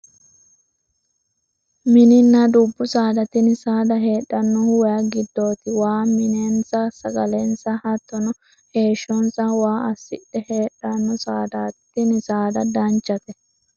Mininna dubbu saada tini saada heedhannohu wayi giddooti waa minensa sagalensa hattono heeshshonsa waa assidhe heedhanno sadaati tini saada danchate